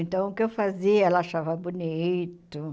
Então, o que eu fazia, ela achava bonito.